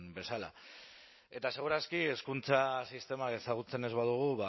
bezala eta segur aski hezkuntza sistemak ezagutzen ez badugu